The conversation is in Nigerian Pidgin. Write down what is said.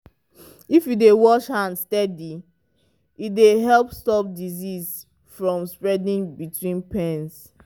if you dey wash your hands steady e dey help stop disease from spreading between pens.